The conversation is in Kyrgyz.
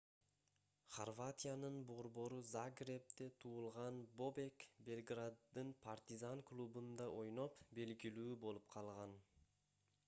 хорватиянын борбору загребде туулган бобек белграддын партизан клубунда ойноп белгилүү болуп калган